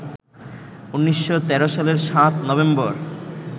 ১৯১৩ সালের ৭ নভেম্বর